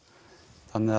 þannig að